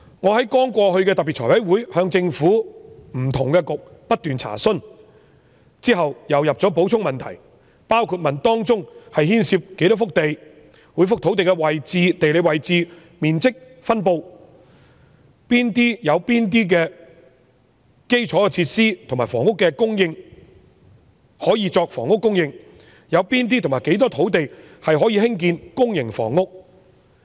我在剛過去的財委會特別會議上不斷向政府不同的政策局查詢，之後又提交補充問題，內容包括這些土地當中牽涉多少幅土地、每幅土地的地理位置、面積及分布如何、有哪些是設有基礎設施可以作房屋供應用途、有哪些及多少土地可以興建公營房屋？